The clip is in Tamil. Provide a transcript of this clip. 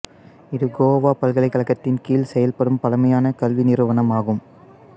இது கோவா பல்கலைக்கழகத்தின் கீழ் செயல்படும் பழமையான கல்வி நிறுவனமாகும்